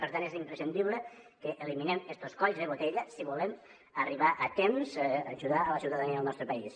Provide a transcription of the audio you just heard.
per tant és imprescindible que eliminem estos colls de botella si volem arribar a temps a ajudar a la ciutadania del nostre país